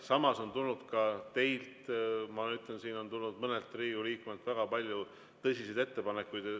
Samas on tulnud ka teilt, siin on tulnud mõnelt Riigikogu liikmelt väga palju tõsiseid ettepanekuid.